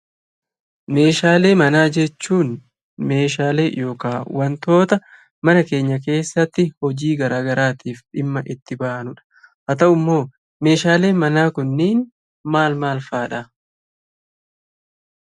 Meeshaalee manaa jechuun meeshaalee yookaan wantoota mana keenya keessatti hojii garaagaraatiif dhimma itti baanudha. Haa ta'u immoo meeshaaleen manaa kunniin maal maal fa'aadha?